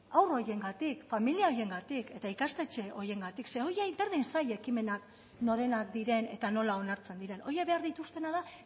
haur horiengatik familia horiengatik eta ikastetxe horiengatik zeren horiei berdin zaie ekimenak norenak diren eta nola onartzen dira horiek behar dituztena da